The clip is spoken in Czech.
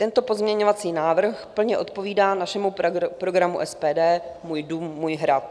Tento pozměňovací návrh plně odpovídá našemu programu SPD "můj dům, můj hrad".